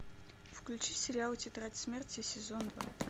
включи сериал тетрадь смерти сезон два